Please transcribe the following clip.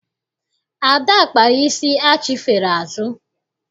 Ada kpara isi achifere azụ.